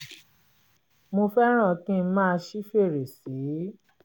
mo fẹ́ràn kí n máa ṣí fèrèsé